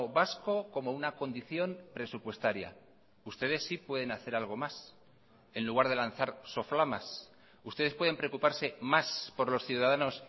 vasco como una condición presupuestaria ustedes sí pueden hacer algo más en lugar de lanzar soflamas ustedes pueden preocuparse más por los ciudadanos